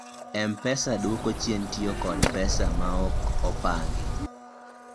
mpesa duoko chien tiyo kod pesa maok opangi